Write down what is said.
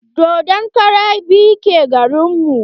Dodon kara biyu ke garin mu.